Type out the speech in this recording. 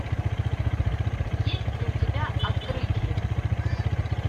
есть ли у тебя открытие